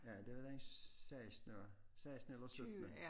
Ja det var den sekstende sekstende eller syttende